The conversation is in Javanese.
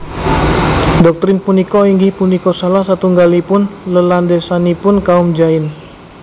Doktrin punika inggih punika salah satunggalipun lelandhesanipun kaum Jain